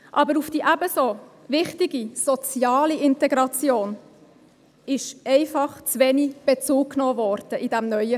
Aber auf die ebenso wichtige soziale Integration wurde in diesem neuen Gesetz einfach zu wenig Bezug genommen.